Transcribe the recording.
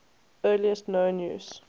earliest known use